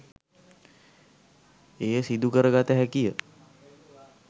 එය සිදු කරගත හැකිය.